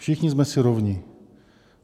Všichni jsme si rovni.